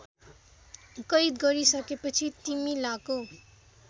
कैद गरिसकेपछि तिमीलाको